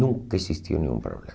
Nunca existia nenhum